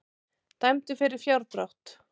Dæmdur fyrir fjárdrátt